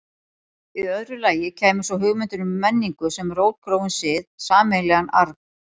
Í öðru lagi kæmi svo hugmyndin um menningu sem rótgróinn sið, sameiginlegan arf.